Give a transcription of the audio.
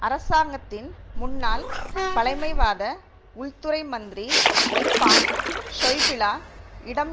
அரசாங்கத்தின் முன்னாள் பழைமைவாத உள்துறை மந்திரி வொல்பாங் ஷொய்பிள இடம்